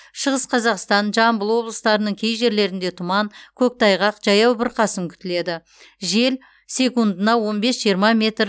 шығыс қазақстан жамбыл облыстарының кей жерлерінде тұман көктайғақ жаяу бұрқасын күтіледі жел секундына он бес жиырма метр